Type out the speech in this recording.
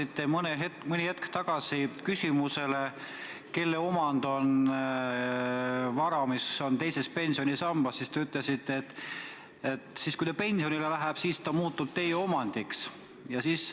Te vastasite mõni hetk tagasi küsimusele, kelle omand on vara, mis on teises pensionisambas, ja te ütlesite, et siis, kui te pensionile lähete, muutub see vara teie omandiks.